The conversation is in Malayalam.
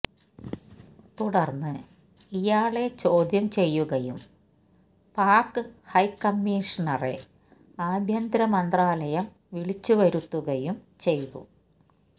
തുടര്ന്ന് ഇയാളെ ചോദ്യം ചെയ്യുകയും പാക് ഹൈക്കമ്മീഷണറെ ആഭ്യന്തര മന്ത്രാലയം വിളിച്ചുവരുത്തുകയും ചെയ്തു